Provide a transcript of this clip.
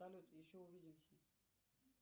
салют еще увидимся